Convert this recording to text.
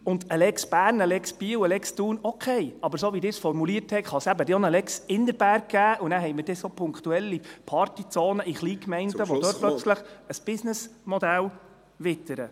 Eine «Lex Bern», eine «Lex Biel» und eine «Lex Thun» – okay, aber so, wie Sie es formuliert haben, könnte es auch eine «Lex Innerberg» geben, und dann haben wir punktuelle Partyzonen in Kleingemeinden, die plötzlich ein Geschäftsmodell wittern.